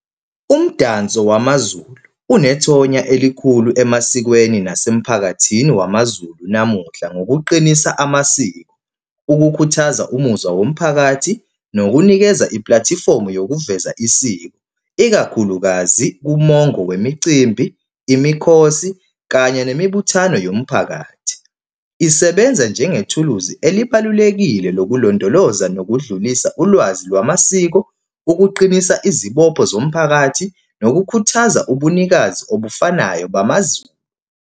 Umdanso wamaZulu unethonya elikhulu emasikweni nasemphakathini wamaZulu namuhla ngokuqinisa amasiko. Ukukhuthaza umuzwa womphakathi nokunikeza iplathifomu yokuveza isiko, ikakhulukazi kumongo wemicimbi, imikhosi, kanye nemibuthano yomphakathi. Isebenza njengethuluzi elibalulekile lokulondoloza nokudlulisa ulwazi lwamasiko, ukuqinisa izibopho zomphakathi, nokukhuthaza ubunikazi obufanayo bamaZulu.